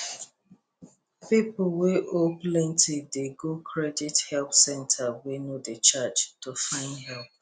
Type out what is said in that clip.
people wey owe plenty dey go credit help centre wey no dey charge to find help